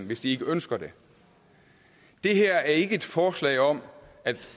hvis de ikke ønsker det det her er ikke et forslag om at